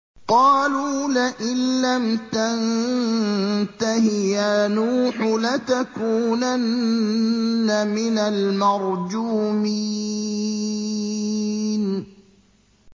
قَالُوا لَئِن لَّمْ تَنتَهِ يَا نُوحُ لَتَكُونَنَّ مِنَ الْمَرْجُومِينَ